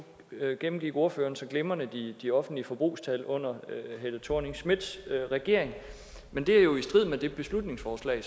gennemgik ordføreren så glimrende de offentlige forbrugstal under helle thorning schmidts regering men det er jo i strid med det beslutningsforslag